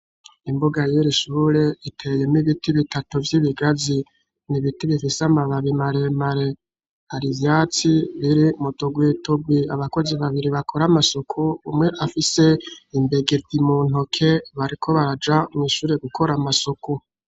Imbuga y'iri shure, iteyemwo ibiti bitatu vy'ibigazi. Ni ibiti bifise amababi maremare. Hari ivyatsi biri mu tugwi tugwi. Abakozi babiri bakora amasuku, umwe afise imbegeti mu ntoke, bariko baraja mw'ishure gukora amasuku.